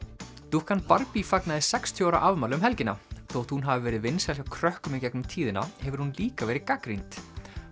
dúkkan Barbie fagnaði sextíu ára afmæli um helgina þótt hún hafi verið vinsæl hjá krökkum í gegnum tíðina hefur hún líka verið gagnrýnd